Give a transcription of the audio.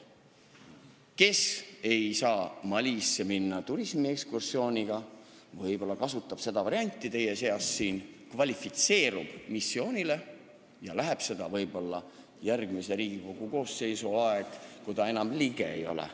Kes ei saa Malisse minna turismiekskursiooniga, võib-olla kasutab seda varianti, et kvalifitseerub missioonile ja läheb sinna järgmise Riigikogu koosseisu ajal, kui ta enam liige ei ole.